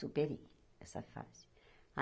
Superei essa fase.